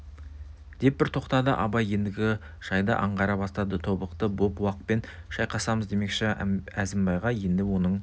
деп бір тоқтады абай ендігі жайды аңғара бастады тобықты боп уақпен шайқасамыз демекші әзімбайға енді оның